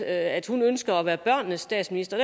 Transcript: at hun ønsker at være børnenes statsminister